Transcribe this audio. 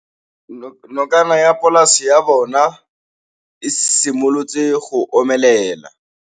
Nokana ya polase ya bona, e simolola go omelela.